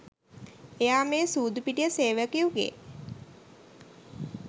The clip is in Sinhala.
එයා මේ සූදු පිටිය සේවකයකුගේ